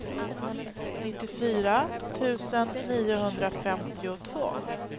nittiofyra tusen niohundrafemtiotvå